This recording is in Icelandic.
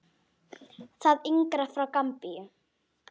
Það yngra er frá Gambíu.